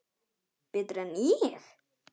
Betur en ég?